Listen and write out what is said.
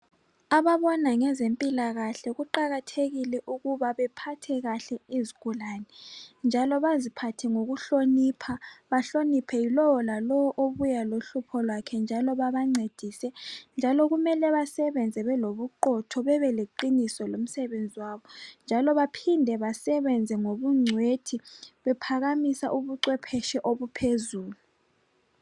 ababona ngezempilakahle kuqakathekile ukuba abaphathe kahle izigulane njalo baziphathe ngokuhlonipha bahloniphe lowo lalowo obuya lohlupho lwakhe njalo babancedise njalo kume basebenze belobuqotho bebeleqiniso lomsebenzi wabo jalo baphinde basebenze ngobuncwethi bephakamisa ubucwephetshi obuphezulu